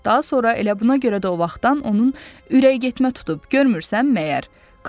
Daha sonra elə buna görə də o vaxtdan onun ürəyi getmə tutub, görmürsən məyər?